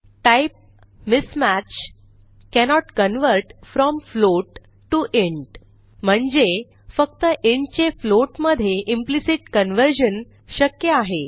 type mismatch cannot convert from float to int म्हणजे फक्त int चे फ्लोट मधे इम्प्लिसिट कन्व्हर्जन शक्य आहे